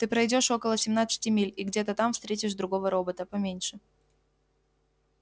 ты пройдёшь около семнадцати миль и где-то там встретишь другого робота поменьше